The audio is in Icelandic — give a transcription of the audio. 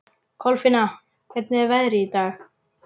Kolfinna, hvernig er veðrið í dag?